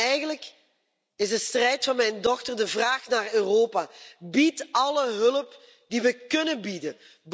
Eigenlijk is de strijd van mijn dochter een vraag aan Europa bied alle hulp die we kunnen bieden.